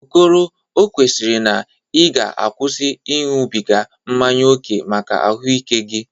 Okoro, o kwesiri na ị ga-akwụsị ịñụbịga mmanye oke maka ahụ ike gị.